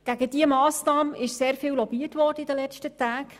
Gegen diese Massnahme wurde in den letzten Tagen sehr viel lobbyiert.